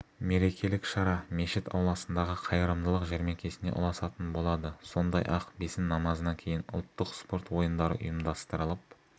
мерекелік шара мешіт ауласындағы қайырымдылық жәрмеңкесіне ұласатын болады сондай-ақ бесін намазынан кейін ұлттық спорт ойындары ұйымдастырылып